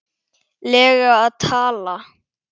lega að tala?